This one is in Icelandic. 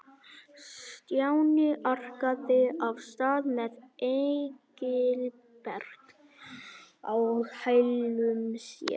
Stjáni arkaði af stað með Engilbert á hælum sér.